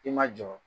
I ma jɔ